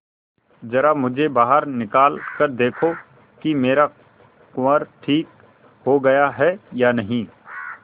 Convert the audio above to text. जरा मुझे बाहर निकाल कर देखो कि मेरा कुंवर ठीक हो गया है या नहीं